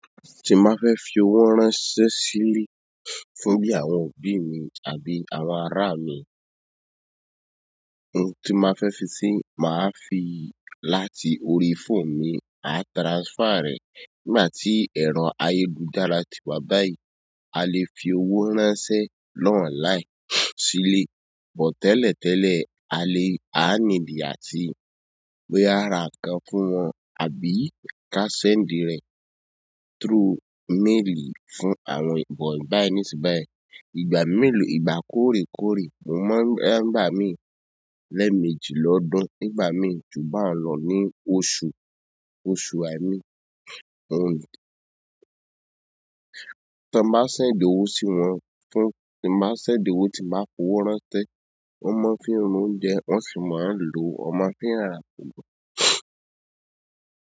Ti n bá fẹ́ fi owó ránṣẹ́ sílẹ̀ fún bí àwọn òbí mi àbí àwọn ará mi, ohun ti má fẹ́ fi sì máa fi láti orí fóònù mi máa transfer rẹ̀. Nígbà tí ẹ̀rọ ayélujára ti wá báyìí, a lè fi owó ránṣẹ́ lọ́ online sílẹ̀, bọ̀ tẹ́lẹ̀tẹ́lẹ̀ a lè, a níìdí àti bóyá a ra nǹkan fún wọn àbí ká send rẹ̀ through mail fún àwọn ìbòì báyìí nísìnyí báyìí. Ìgbà mélòó, ìgbà kórékóré, mo mọ em nígbà mi lẹ́ẹ̀ méjì lọ́dún nígbà mi, jù bẹ́ẹ̀ lọ ní oṣù, oṣù ài mi. Ohun tan ń bá ṣẹ̀nd owó sí wọn fún tí n bá ṣẹ̀nd owó tí n bá fowó ránṣẹ́, wọ́n mọ̀ ọ́n fi ra oúnjẹ wọ́n sì máa ń lò, wọn mọ̀ ọ́n fi ra àpòna.